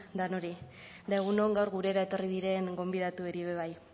danori eta egun on gaur gurera etorri diren gonbidatuei be bai